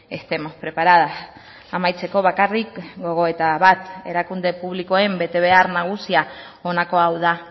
estemos preparadas amaitzeko bakarrik gogoeta bat erakunde publikoen betebehar nagusia honako hau da